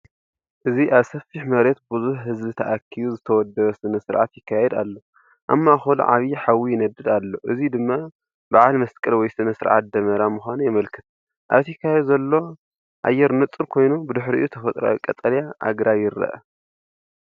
ኣብዚ ኣብ ሰፊሕ መሬት ብዙሕ ህዝቢ ተኣኪቡ ዝተወደበ ስነ-ስርዓት ይካየድ ኣሎ። ኣብ ማእከሉ ዓቢ ሓዊ ይነድድ ኣሎ፡እዚ ድማ በዓል መስቀል ወይ ስነ-ስርዓት ደመራ ምዃኑ የመልክት። ኣብቲ ከባቢ ዘሎ ኣየር ንጹር ኮይኑ፡ ብድሕሪኡ ተፈጥሮኣዊ ቀጠልያ ኣግራብ ይርአ።